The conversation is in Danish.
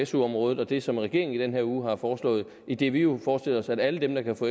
su området og det som regeringen i den her uge har foreslået idet vi nu forestiller os at alle dem der kan få